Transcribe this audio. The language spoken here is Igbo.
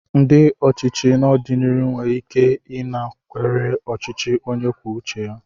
Ndị ochichi n'ọdịnihu nwere ike ịnakwere ọchịchị onye kwuo uche ya.